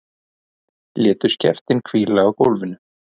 Létu skeftin hvíla á gólfinu.